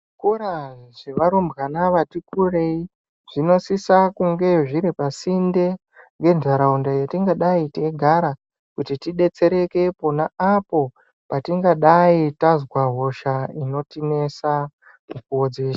Zvikora zvevarumbwana vati kurei zvinosisa kunge zviri pasinde ngenharaunda yetingadai teigara kuti tidetsereke pona apo patingadai tazwa hosha inotinesa mukuwo dzeshe.